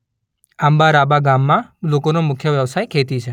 આંબારાંબા ગામમાં લોકોનો મુખ્ય વ્યવસાય ખેતી છે.